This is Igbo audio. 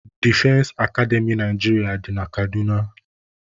Defense Akademy Naịjirịa dị na Kaduna.